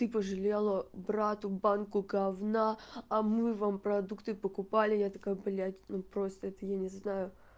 ты пожалела брату банку говна а мы вам продукты покупали я такая блядь ну просто это я не знаю